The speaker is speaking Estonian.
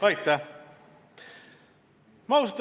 Aitäh!